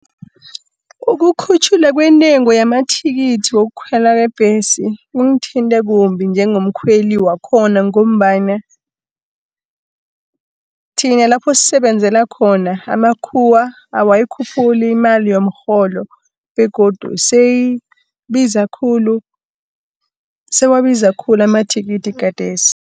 Ukukhutjhulwa kwentengo yamathikithi wokukhwelwa kwebhesi, kungithinte kumbi njengomkhweli wakhona, ngombana thina lapho sisebenzela khona, amakhuwa awayikhuphuli imali yomrholo, begodu sewabiza khulu amathikithi khathesi.